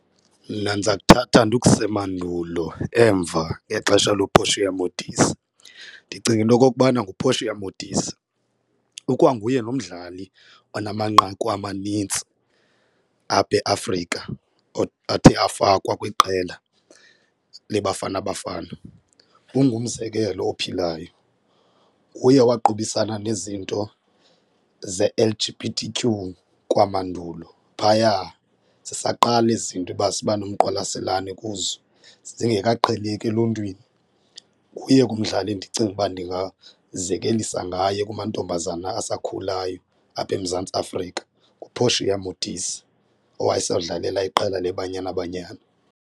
Mna ndiza kuthatha ndikuse mandulo emva ngexesha looPortia Modise, ndicinga into okokubana nguPortia Modise, ikwanguye nomdlali onamanqaku amanintsi apha eAfrika athe afakwa kwiqela leBafana Bafana. Ungumzekelo ophilayo, nguye waqubisana nezinto ze-L_G_B_T_Q kwamandulo phaya zisaqala eziinto iba sibanomqwalaselane kuzo zingekaqheleki eluntwini. Nguye ke umdlali endicinga ukuba ndingazekelisa ngaye kumantombazana asakhulayo apha eMzantsi Afrika, nguPortia Modise owayesawudlalela iqela leBanyana Banyana.